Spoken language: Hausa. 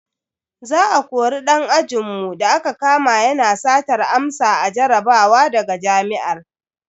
Za a kori dan ajinmu da aka kama yana satar amsa a jarabawa daga jami'ar.